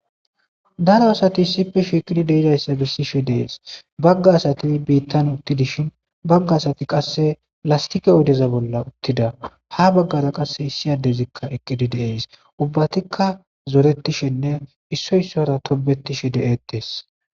daro asati issipfe shiiqini deidayssa gissishe dees bagga asati biittan uttidishin bagga asati qasse lastike oodeza bolla uttida ha baggara qasse issiyadezikka eqqidi deees ubbatikka zoretishenne issoy issora tobetishe de7ettees